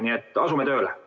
Nii et asume tööle!